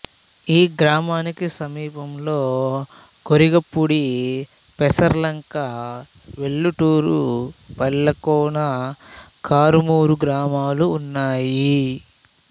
ఈ గ్రామానికి సమీపంలో గొరిగపూడి పెసర్లంక వెల్లటూరు పల్లెకోన కారుమూరు గ్రామాలు ఉన్నాయి